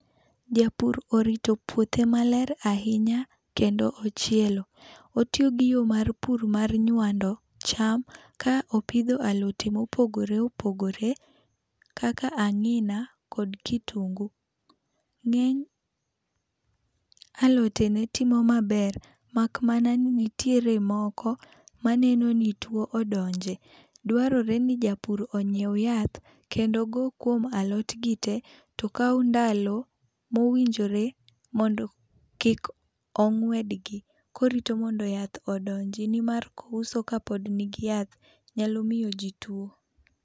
Japur orito puothe maler ahinya kendo ochielo. Otiyo gi yo mar pur mar nyuando cham ka opidho alote ma opogore opogore kaka ang'ina kod kitungu. Ng'eny alotone timo maber mak mana ni nitiere moko maneno ni tuo odonje. Drawore ni japur ony'iew yath kendo ogo kuom alot gi te. To okaw ndalo mowinjore mondo kik ong'wedgi korito mondo yath ondonji. Nimar kouso ka pod ni gi yath nyalo miyo ji tuo.